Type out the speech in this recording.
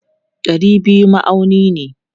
Dari biyu ma'auni ne.